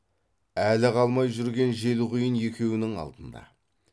әлі қалмай жүрген желқұйын екеуінің алдында